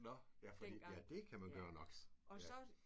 Nåh. Ja det fordi ja det kan man gøre nok ja